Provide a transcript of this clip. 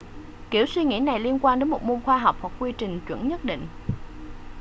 kiểu suy nghĩ này liên quan đến một môn khoa học hoặc quy trình chuẩn nhất định